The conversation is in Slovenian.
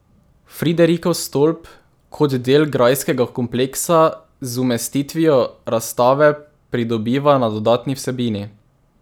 Friderikov stolp kot del grajskega kompleksa z umestitvijo razstave pridobiva na dodatni vsebini.